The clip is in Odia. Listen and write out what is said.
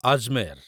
ଆଜମେର